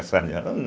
As salas de aula?